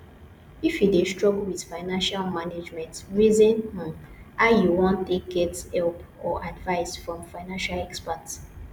if you dey struggle with financial management reason um how you want take get help or advise from financial expert